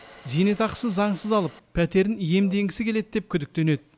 зейнетақысын заңсыз алып пәтерін иемденгісі келеді деп күдіктенеді